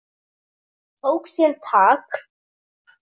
Tók sér tak.